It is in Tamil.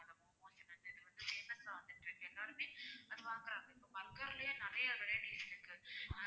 சேலத்துல வந்துட்டுருக்கு எல்லாருமே அது வாங்குறாங்க இப்போ burger லயே நிறைய varieties இருக்கு அஹ்